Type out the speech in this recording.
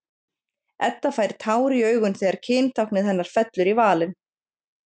Edda fær tár í augun þegar kyntáknið hennar fellur í valinn.